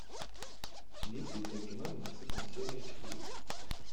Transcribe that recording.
есть ли у тебя кино ненасытная серия четыре